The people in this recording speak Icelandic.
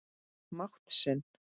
mátt sinn.